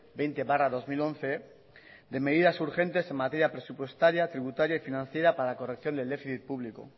veinte barra dos mil once de medidas urgentes en materia presupuestaria tributaria y financiera para la corrección del déficit público